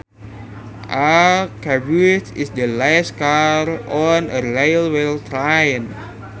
A caboose is the last car on a railway train